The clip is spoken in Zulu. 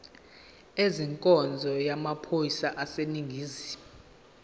ezenkonzo yamaphoyisa aseningizimu